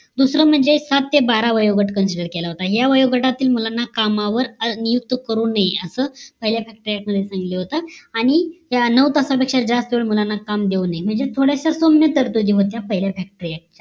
दुसरं म्हणजे सात ते बारा वयोगट consider केलं होत या वयोगटातील मुलांना कामावर नियुक्त करू नये असा पहिल्या factory act मध्ये सांगितलं होत आणि ह्या नऊ तासा पेक्ष्या जास्त मुलांना काम देऊ नये म्हणजे थोड्याच्या सौम्य तरतुदी होत्या पहिल्या factory